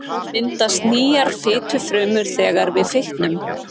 Myndast nýjar fitufrumur þegar við fitnum?